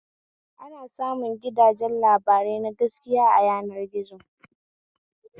Ana samun gidajen labarai na gaskiya a yanar gizo